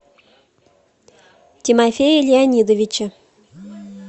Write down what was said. тимофея леонидовича